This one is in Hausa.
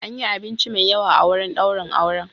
An yi abinci mai yawa a wurin daurin auren.